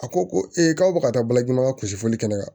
A ko ko ee k'aw bɛ ka taa balaji la kusifoli kɛ ne la